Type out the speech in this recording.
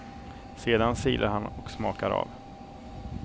Sedan silar han och smakar av.